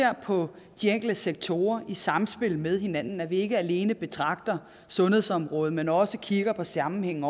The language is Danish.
på de enkelte sektorer i samspil med hinanden vi skal ikke alene betragte sundhedsområdet men også kigge på sammenhængen